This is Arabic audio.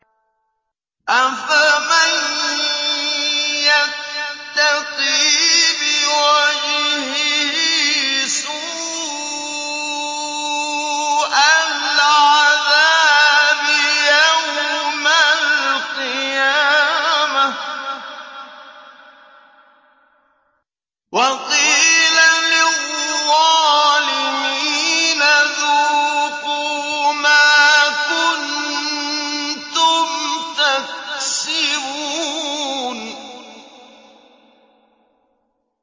أَفَمَن يَتَّقِي بِوَجْهِهِ سُوءَ الْعَذَابِ يَوْمَ الْقِيَامَةِ ۚ وَقِيلَ لِلظَّالِمِينَ ذُوقُوا مَا كُنتُمْ تَكْسِبُونَ